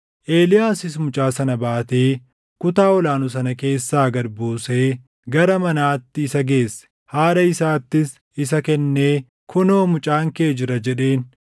Eeliyaasis mucaa sana baatee kutaa ol aanu sana keessaa gad buusee gara manaatti isa geesse. Haadha isaattis isa kennee, “Kunoo mucaan kee jira!” jedheen.